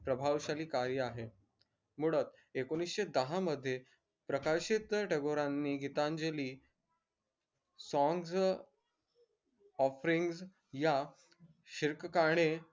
प्रभाव शाली कार्य आहे मुडत एकोनिषे दहा मध्ये प्रकाशित टागोरांनी गीतांजली songs offering या शिर्ककाने